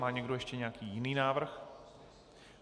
Má někdo ještě nějaký jiný návrh?